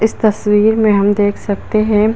इस तस्वीर में हम देख सकते है।